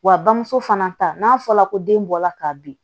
Wa bamuso fana ta n'a fɔra ko den bɔla ka bin